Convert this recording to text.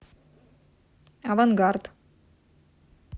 авангард